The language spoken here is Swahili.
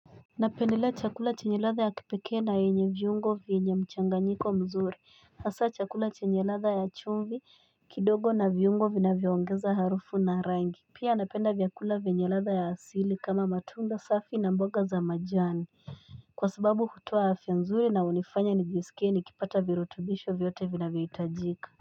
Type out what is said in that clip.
Napendelea chakula chenye latha ya kipeke na yenye viungo vyenye mchanganyiko mzuri hasa chakula chenye latha ya chumvi kidogo na viungo vina vyongeza harufu na rangi Pia anapenda vyakula vyenye latha ya asili kama matunda safi na mboga za majani Kwa sababu hutoa afya mzuri na unifanya nijisikie nikipata virutubisho vyote vina vyohitajika.